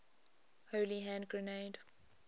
holy hand grenade